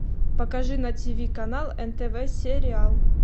покажи на тиви канал нтв сериал